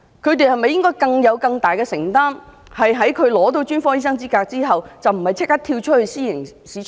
因此，他們是否應負上更大的承擔，在他們取得專科醫生資格後，不應立即"跳出"私營市場？